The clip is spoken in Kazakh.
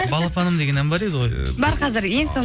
балапаным деген ән бар еді ғой бар қазір ең